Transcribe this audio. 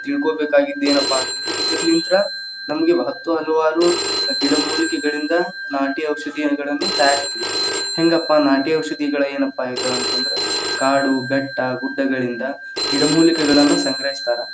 ತಿಳಕೊಬೇಕಾಗಿದ್ದ ಏನಪ್ಪಾ ಅಂತಂದ್ರೆ ಇದರ್ಲಿಂತ್ರ ನಮಗೆ ಮಹತ್ವ ಹೊಂದುವ ಗಿಡಮೂಲಿಕೆಗಳಿಂದ ನಾಟಿ ಔಷಧಿಯಗಳನ್ನ ತಯಾರಿಸ್ತೀವಿ, ಹೆಂಗಪ್ಪಾ ನಾಟಿ ಔಷಧಿಗಳ ಏನಪ್ಪಾ ಇದ್‌ ಅಂತಂದ್ರ ಕಾಡು, ಬೆಟ್ಟ, ಗುಡ್ಡಗಳಿಂದ ಗಿಡಮೂಲಿಕೆಗಳನ್ನ ಸಂಗ್ರಹಿಸ್ತಾರ.